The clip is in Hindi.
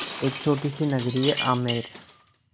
एक छोटी सी नगरी है आमेर